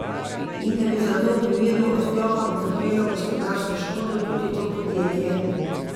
In da bi zato v primeru odklopa utrpelo gospodarsko škodo tudi to podjetje.